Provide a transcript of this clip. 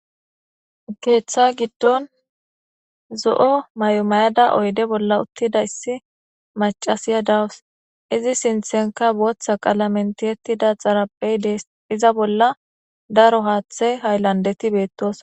Keththa giddon zo'o maayo maayadda oyidde bolla othidayssi mac'assiya de'awus izi sinittenikka both boththa qallamen tiyetidda dee's iza bolla daro haththe hayilanideththi bettossona.